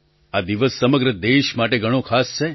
આ દિવસ સમગ્ર દેશ માટે ઘણો ખાસ છે